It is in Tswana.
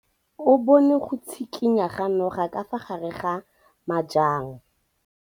O bone go tshikinya ga noga ka fa gare ga majang.